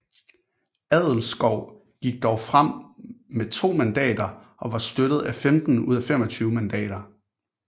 Adelskov gik dog frem med to mandater og var støttet af 15 ud af 25 mandater